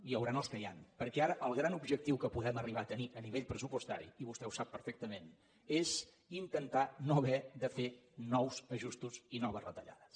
hi hauran els que hi ha perquè ara el gran objectiu que podem arribar a tenir a nivell pressupostari i vostè ho sap perfectament és intentar no haver de fer nous ajustos i noves retallades